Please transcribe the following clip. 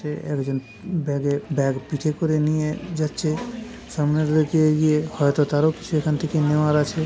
সে একজন ব্যাগে ব্যাগ পিঠে করে নিয়ে যাচ্ছে সামনের দিকে এগিয়ে। হয়তো তারও কিছু এখান থেকে নেওয়ার আছে।